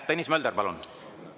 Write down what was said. Tõnis Mölder, palun!